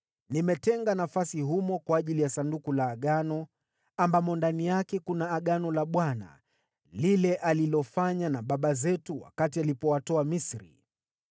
Nimetenga nafasi humo kwa ajili ya Sanduku la Agano, ambamo ndani yake kuna lile Agano la Bwana alilofanya na baba zetu wakati alipowatoa Misri.”